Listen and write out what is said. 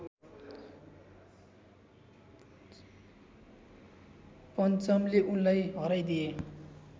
पञ्चमले उनलाई हराइदिए